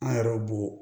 An yɛrɛ b'o